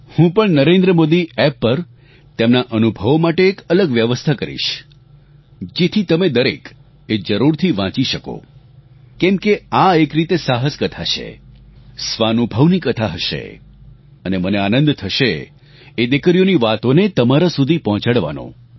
હું પણ નરેન્દ્રમોદી એપ પર તેમનાં અનુભવો માટે એક અલગ વ્યવસ્થા કરીશ જેથી તમે દરેક એ જરૂરથી વાંચી શકો કેમકે આ એક રીતે સાહસ કથા છે સ્વાનુભવની કથા હશે અને મને આનંદ થશે એ દિકરીઓની વાતોને તમારા સુધી પહોંચાડવાનો